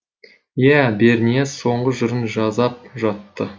иә бернияз соңғы жырын жазап жатты